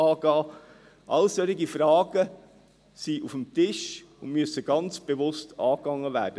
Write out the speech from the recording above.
– Solche Fragen sind auf dem Tisch und müssen ganz bewusst angegangen werden.